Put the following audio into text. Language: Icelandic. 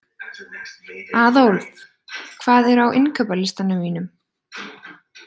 Aðólf, hvað er á innkaupalistanum mínum?